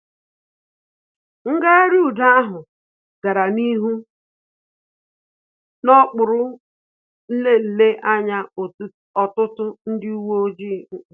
Ngagharị udo ahụ gara n'ihu na okpuru nlele anya ọtụtụ ndị uwe ojii